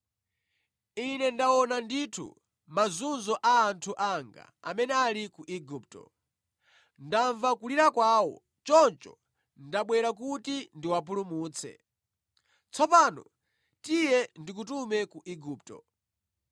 Ine ndaona ndithu mazunzo a anthu anga amene ali ku Igupto. Ndamva kulira kwawo choncho ndabwera kuti ndiwapulumutse. Tsopano tiye ndikutume ku Igupto.’